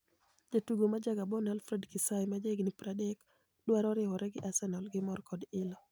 Jatugo ma ja Gaboni Alfred Kisaawe ma ja higa 30, dwaro riwore gi Arsenial gimor kod ilo.